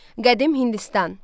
Qədim Hindistan.